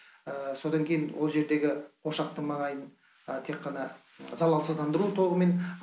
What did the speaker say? содан кейін ол жердегі ошақтың маңайын тек қана залалсыздандыру тобымен